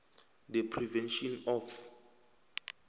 the prevention of